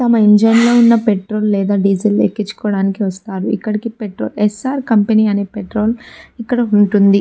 తమ ఇంజిన్ లో వున్న పెట్రోల్ లేదా డీజిల్ ని ఎక్కిన్చుకోవడానికి వస్తారు ఇక్కడకి పెట్రోల్ ఎస్సార్ కంపెనీ అనే పెట్రోల్ ఇక్కడ ఉంటుంది.